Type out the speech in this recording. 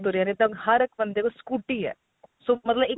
ਤੇ ਤੁਰਿਆ ਆਰਿਆ ਤਾਂ ਹਰ ਬੰਦੇ ਕੋਲ scooty ਏ so ਮਤਲਬ ਇੱਕ